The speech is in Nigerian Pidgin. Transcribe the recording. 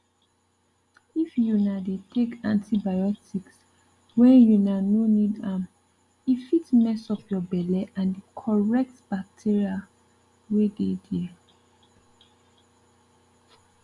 if una dey take antibiotics when una no need ame fit mess up your belle and the correct bacteria wey dey there